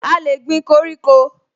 A lè gbin koríko